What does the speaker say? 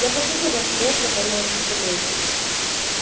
я почувствовал как рот наполняется слюной